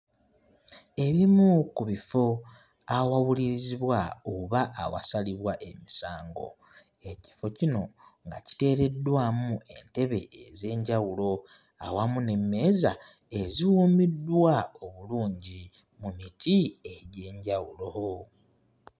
Ebimu ku bifo awawulirizibwa oba awasalibwa emisango ekifo kino nga kiteereddwamu entebe ez'enjawulo awamu n'emmeeza eziwuumiddwa obulungi mu miti egy'enjawulo.